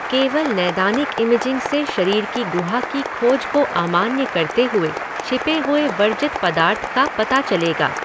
केवल नैदानिक इमेजिंग से शरीर की गुहा की खोज को अमान्य करते हुए छिपे हुए वर्जित पदार्थ का पता चलेगा।